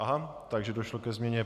Aha, takže došlo ke změně.